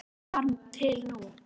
Eða þar til nú.